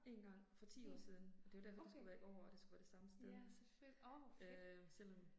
Mh. Okay, ja, selvfølge, åh hvor fedt